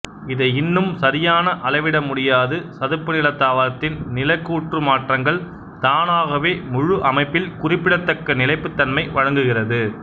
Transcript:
இதை இன்னும் சரியான அளவிடமுடியாது சதுப்புநில தாவரத்தின் நிலக் கூற்று மாற்றங்கள் தானாகவே முழு அமைப்பில் குறிப்பிடத்தக்க நிலைப்புத்தன்மை வழங்குகிறது